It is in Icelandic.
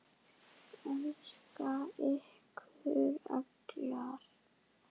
Elska ykkur allar.